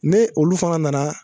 Ne olu fana nana